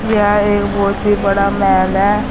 यह एक बहुत ही बड़ा महल है।